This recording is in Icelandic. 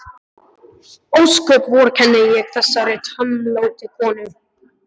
Ósköp vorkenni ég þessari tómlátu konu.